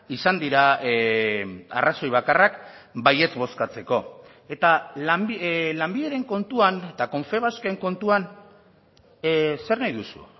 izan dira arrazoi bakarrak baietz bozkatzeko eta lanbideren kontuan eta confebasken kontuan zer nahi duzu